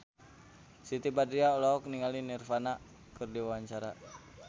Siti Badriah olohok ningali Nirvana keur diwawancara